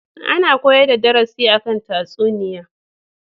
Ana koyar da darasi a kan tatsuniya.